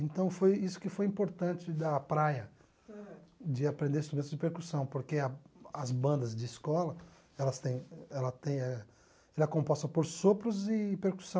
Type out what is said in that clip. Então foi isso que foi importante da praia, de aprender instrumentos de percussão, porque a as bandas de escola, elas tem ela tem eh ela é composta por sopros e percussão.